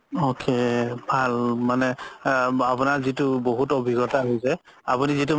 okay ভাল মানে আপুনাৰ যিতো বহুত অভিজ্ঞতা হৈছে আপুনি যিতো